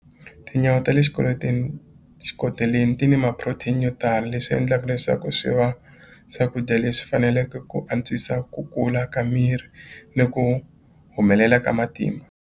Tinyawa ta le swikweleteni xikoteleni ti ni ma-protein yo tala leswi endlaku leswaku swi va swakudya leswi faneleke ku antswisa ku kula ka miri ni ku humelela ka matimba.